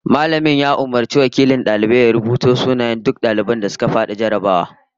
Mallamin ya umurci wakilin daliban ya rubuto sunayen duk daliban da suka fadi jarrabawar